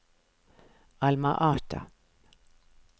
Alma Ata